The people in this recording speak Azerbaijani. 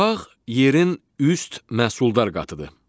Torpaq yerin üst məhsuldar qatıdır.